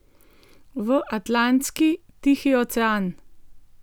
V Atlantski, Tihi ocean!